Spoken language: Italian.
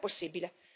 Com'è possibile?